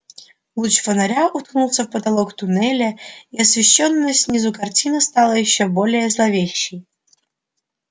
луч фонаря уткнулся в потолок туннеля и освещённая снизу картина стала ещё более зловещей